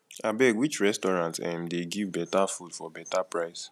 abeg which restaurant um dey give better food for beta price